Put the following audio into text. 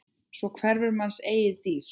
Svo hverfur manns eigin dýrð.